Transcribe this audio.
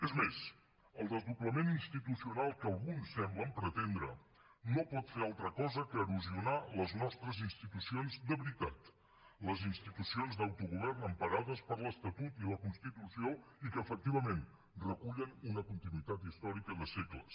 és més el desdoblament institucional que alguns semblen pretendre no pot fer altra cosa que erosionar les nostres institucions de veritat les institucions d’autogovern emparades per l’estatut i la constitució i que efectivament recullen una continuïtat històrica de segles